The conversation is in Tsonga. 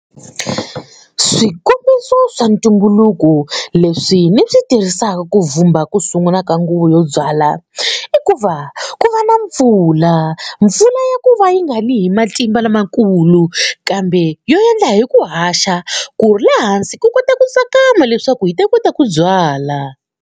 Swikombiso swa ntumbuluko leswi ni swi tirhisaka ku vhumba ku sungula ka nguva yo byala i ku va ku va na mpfula mpfula ya ku va yi nga ni hi matimba lamakulu kambe yo endla hi ku haxa ku ri le hansi ku kota ku tsakama leswaku hi ta kota ku byala.